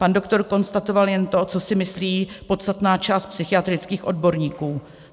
Pan doktor konstatoval jen to, co si myslí podstatná část psychiatrických odborníků.